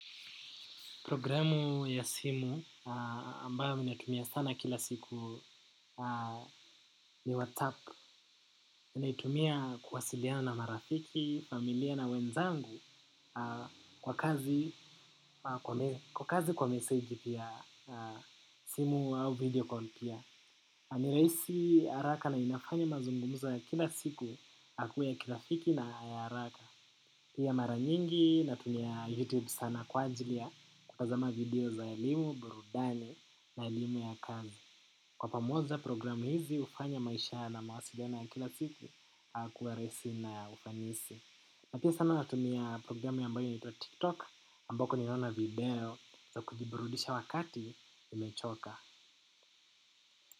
Programu ya simu ambayo mi natumia sana kila siku ni WhatsApp. Naitumia kuwasiliana na rafiki, familia na wenzangu kwa kazi kwa message pia simu au videocall pia. Niraisi haraka na inafanya mazungumzo ya kila siku akue ya kilafiki na araka. Pia mara nyingi natumia youtube sana kwa ajili ya kutazama video za elimu burudani na elimu ya kazi. Kwa pamoja program hizi hufanya maisha na mawasiliano ya kila siku kuwa rahisi na ya ufanisi. Napia sana natumia programu ambayo inaitwa tiktok ambako niliona video za kujiburudisha wakati nimechoka.